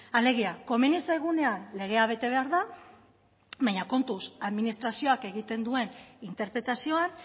alegia komeni zaigunean legea bete behar da baina kontuz administrazioak egiten duen interpretazioan